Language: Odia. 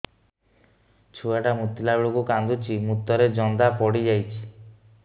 ଛୁଆ ଟା ମୁତିଲା ବେଳକୁ କାନ୍ଦୁଚି ମୁତ ରେ ଜନ୍ଦା ପଡ଼ି ଯାଉଛି